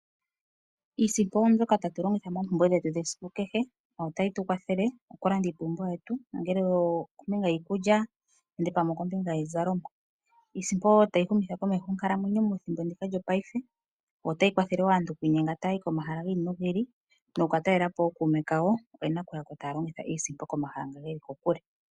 Iisimpo oyo mbyoka tatu longitha moompumbwe dhetu dhesiku kehe notayi tu kwathele okulanda oompumbwe dhetu nongele okombinga yiikulya nenge okombinga yiizalomwa. Iisimpo tayi humitha komeho onkalamwenyo methimbo ndika lyongaashingeyi. Ota yi kwathele wo aantu okiinyenga taya yi komahala giili no giili nokukatalelapo ookume kawo oye na okuyako taya longitha iisimpo komahala ngoka geli kokule.